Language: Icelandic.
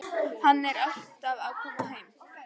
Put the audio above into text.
Hann er alltaf að koma heim.